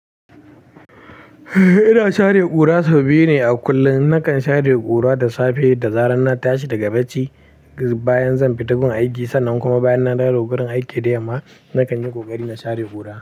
Ina share ƙura sau biyu ne kullum. Nakan share ƙura da safe da zarar na tashi daga bacci bayan zan fita gurin aiki sannan kuma bayan na dawo gurin aiki da yamma nakan yi ƙoƙari na share ƙura.